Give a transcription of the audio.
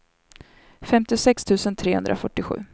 femtiosex tusen trehundrafyrtiosju